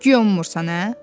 Güya ummursan, hə?